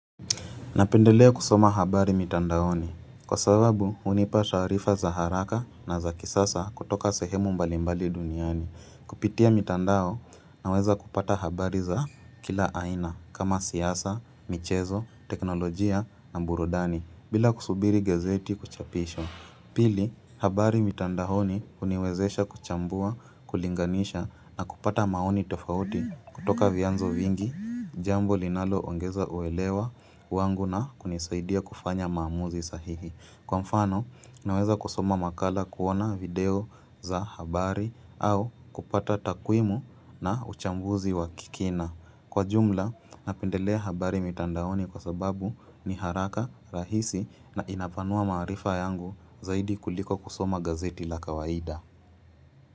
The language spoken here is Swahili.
Napendelea kusoma habari mitandaoni, kwa sababu unipa taarifa za haraka na za kisasa kutoka sehemu mbalimbali duniani. Kupitia mitandao naweza kupata habari za kila aina kama siyasa, michezo, teknolojia na burudani, bila kusubiri gezeti kuchapishwa. Pili, habari mitandaoni uniwezesha kuchambua, kulinganisha na kupata maoni tofauti kutoka vyanzo vingi, jambo linaloongeza uelewa wangu na kunisaidia kufanya maamuzi sahihi. Kwa mfano, naweza kusoma makala kuona video za habari au kupata takwimu na uchambuzi wa kikina. Kwa jumla, napendelea habari mitandaoni kwa sababu ni haraka rahisi na inapanua maarifa yangu zaidi kuliko kusoma gazeti la kawaida.